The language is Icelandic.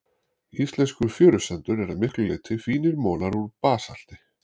Íslenskur fjörusandur er að miklu leyti fínir molar úr basalti.